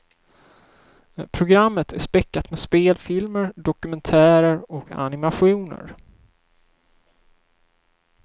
Programmet är späckat med spelfilmer, dokumentärer och animationer.